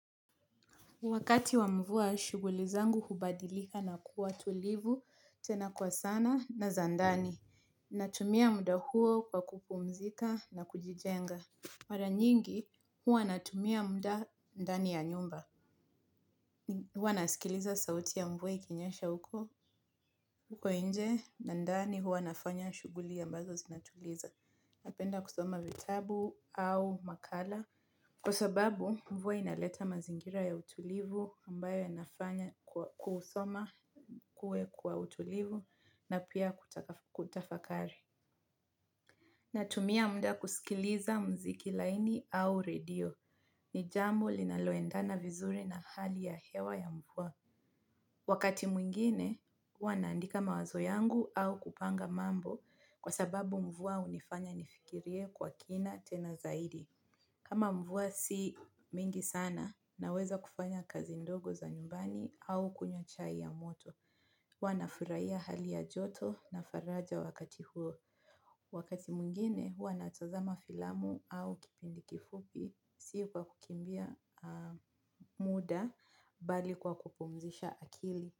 Wakati wa mvua, shughuli zangu hubadilika na kuwa tulivu tena kwa sana na za ndani. Natumia muda huo kwa kupumzika na kujijenga mara nyingi, huwa natumia muda ndani ya nyumba. Huwa nasikiliza sauti ya mvua ikinyesha huko nje na ndani huwa nafanya shughuli ambazo zinatuliza. Napenda kusoma vitabu au makala. Kwa sababu mvua inaleta mazingira ya utulivu ambayo yanafanya kusoma kuwe kwa utulivu na pia kutafakari. Natumia muda kusikiliza muziki laini au redio ni jambo linaloendana vizuri na hali ya hewa ya mvua. Wakati mwingine, huwa naandika mawazo yangu au kupanga mambo kwa sababu mvua hunifanya nifikirie kwa kina tena zaidi. Kama mvua si mingi sana, naweza kufanya kazi ndogo za nyumbani au kunywa chai ya moto. Huwa nafurahia hali ya joto na faraja wakati huo. Wakati mwingine, huwa natazama filamu au kipindi kifupi, si kwa kukimbia muda mbali kwa kupumzisha akili.